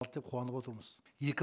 алды деп қуанып отырмыз екі